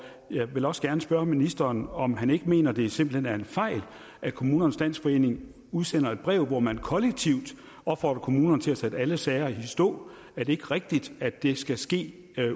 jeg vil også gerne spørge ministeren om han ikke mener at det simpelt hen er en fejl at kommunernes landsforening udsender et brev hvor man kollektivt opfordrer kommunerne til at sætte alle sager i stå er det ikke rigtigt at det skal ske